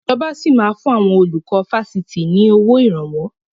Ìjọba sì máa fun àwọn olùkọ́ Fásitì ni owó Ìrànwọ́